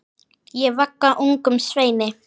Ég vagga ungum sveini.